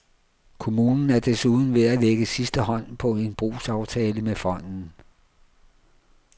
Kommunen er desuden ved at lægge sidste hånd på en brugsaftale med fonden.